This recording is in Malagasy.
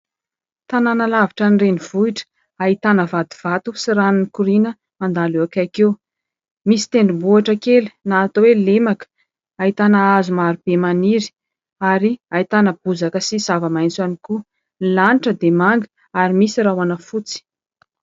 Tanàna lavitra ny renivohitra. Ahitana vody vato sy rano mikoriana mandalo eo akaiky eo. Misy tendrombohitra kely na atao hoe lemaka. Ahitana hazo maro be maniry ary ahitana bozaka sy zava-maitso ihany koa. Ny lanitra dia manga ary misy rahona fotsy.